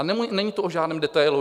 A není to o žádném detailu.